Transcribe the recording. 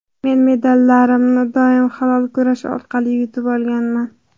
Men medallarimni doim halol kurash orqali yutib olganman.